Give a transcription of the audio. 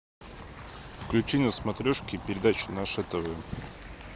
включи на смотрешке передачу наше тв